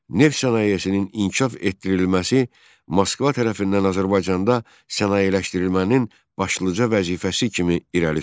Neft sənayesinin inkişaf etdirilməsi Moskva tərəfindən Azərbaycanda sənayeləşmənin başlıca vəzifəsi kimi irəli sürüldü.